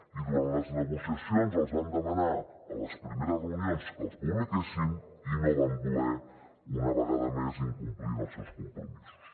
i durant les negociacions els vam demanar a les primeres reunions que els publiquessin i no van voler una vegada més incomplint els seus compromisos